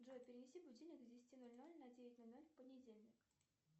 джой перенеси будильник с десяти ноль ноль на девять ноль ноль в понедельник